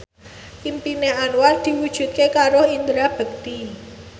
impine Anwar diwujudke karo Indra Bekti